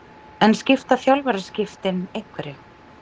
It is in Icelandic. En skipta þjálfaraskiptin einhverju?